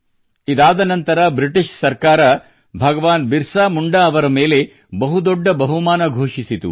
ಇದಾದ ನಂತರ ಬ್ರಿಟಿಷರು ಭಗವಾನ್ ಬಿರಸಾ ಮುಂಡಾ ಅವರ ಮೇಲೆ ಬಹುದೊಡ್ಡ ಬಹುಮಾನ ಘೋಷಿಸಿತು